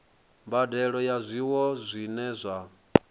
mbadelo ya zwiwo zwine zwa